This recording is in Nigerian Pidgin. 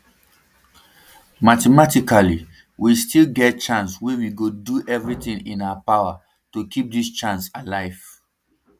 mathematically we still get chance wey we go do everitin in our power to keep dis chance alive